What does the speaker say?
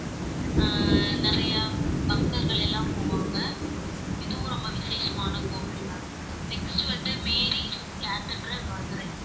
அஹ் நிறைய பக்தர்கள் எல்லாம் போவாங்க இதுவும் ரொம்ப விசேஷமான கோவில் ma'am next வந்து மேரி கதீட்ரல், மதுரை